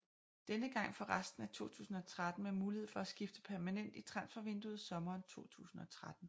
Denne gang for resten af 2013 med mulighed for at skifte permanent i transfervinduet sommeren 2013